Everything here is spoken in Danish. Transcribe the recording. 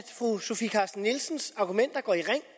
fru sofie carsten nielsens argumenter går i ring